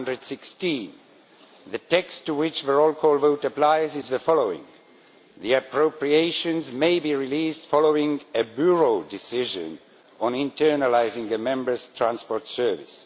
216. The text to which the roll call vote applies is the following The appropriations may be released following a Bureau decision on internalising the Members' transport service'.